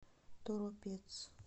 торопец